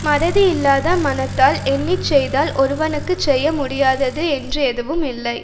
மறதி இல்லாத மனத்தால் எண்ணி செய்தால் ஒருவருக்குச் செய்ய முடியாதது என்று எதுவும் இல்லை